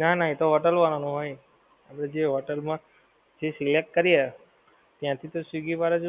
ના ના એ તો hotel વાળાનો હોય ને જે hotel મા જે select કરીએ ત્યાંથી તો swiggy વાળા જ